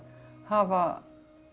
hafa